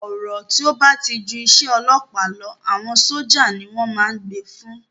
Ọ̀rọ̀ tí ó ba ti ju isẹ́ ọlọ́ọ̀pá lọ, àwọn sójà ni wọ́n ma n gbé e fún